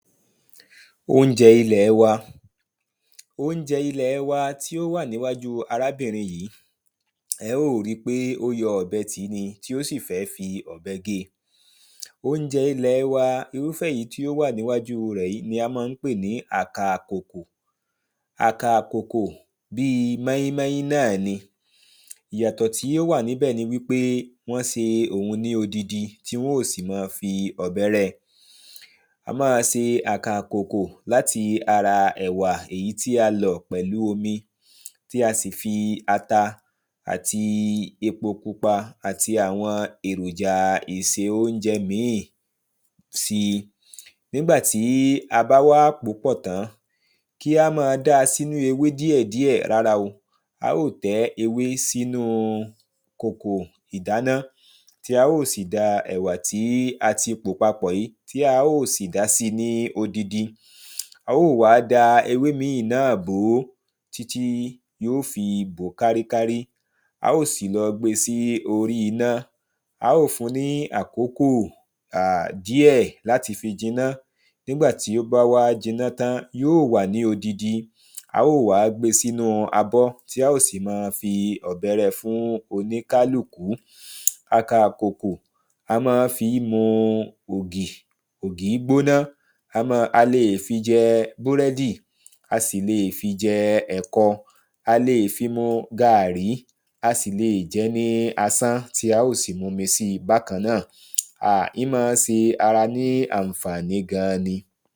Óúnjẹ ilẹ̀ wa. Óúnjẹ ilẹ̀ wa tí ó wà níwájú arábìnrin yìí ẹ́ ó rí pé ó jọ ọ̀bẹ tì ni tí ó sì fẹ́ fi ọ̀bẹ gé. Óúnjẹ ilẹ̀ wa irúfẹ́ èyí tí ó wà níwájú rẹ̀ ni à ń pè ní àkà ìkòkò àkà ìkòkò bí móínmóín náà ni ìyàtọ̀ tí ó wà ńbẹ̀ ni wípé wọ́n se òhun ní odidi tí wọ́n ó sì má fi ọ̀bẹ rẹ́ á má se àkà ìkòkò láti ara ẹ̀wà èyí tí a lọ̀ pẹ̀lú omi tí a sì fi ata àti epo pupa àti àwọn èròja ìse óúnjẹ ìmí sí. Nígbàtí a bá wá pòó pọ̀ tán kí á má dá sínú eẃ díẹ̀ díẹ̀ rárá o á ó tẹ́ ewé sínú ìkòkò ìdáná. Tí a ó sì da ẹ̀wà tí a pò papọ̀ sí tí a ó sì da sí ní odidi á ò wá da ewé mí náà bò títí yó fi bòó kárí kárí á ò sì lọ gbé sí orí iná. Á ò fun ní àkókò à díẹ̀ láti fi jiná nígbà tí ó bá wá jiná tán yóò wà ní odidi á ò wá gbé sínú abọ́ bẹ́ẹ̀ sì ni a má fi ọ̀bẹ rẹ́ fún oníkálùkù. Àkà ìkòkò a má fi mu ògì ògì gbóná a má a lè fi jẹ búrẹ́dì a sì le fi jẹ ẹ̀kọ a sì le fi mu gàrrí a sì le fi jẹ́ ní asán tí á ó sì mumi sí bákan náà à imá se ara ní ànfàní gan ni.